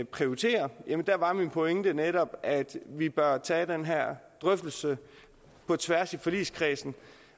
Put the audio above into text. prioritere var min pointe netop at vi bør tage den her drøftelse på tværs i forligskredsen